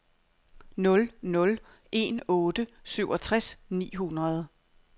nul nul en otte syvogtres ni hundrede